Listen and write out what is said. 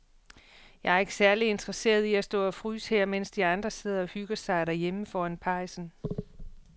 Jeg er ikke særlig interesseret i at stå og fryse her, mens de andre sidder og hygger sig derhjemme foran pejsen.